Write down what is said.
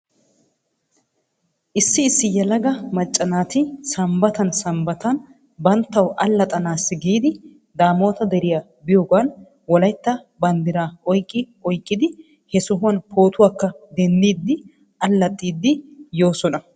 Issi issi yelaga macca naati sambbatan sambbatan banttaw allaxxanaassi giidi daamoota deriyaa biyoogan wolaytta banddiraa oyqqi oyqqidi he sohuwan pootuwaakka denddid alaxxidi yoosona.